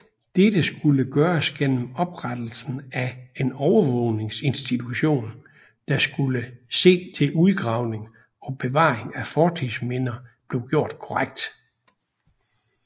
Dette skulle gøres gennem oprettelsen af en overvågningsinstitution der skulle se til udgravning og bevaring af fortidsminder blev gjort korrekt